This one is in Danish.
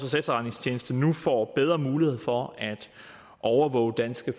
efterretningstjeneste nu får bedre muligheder for at overvåge danske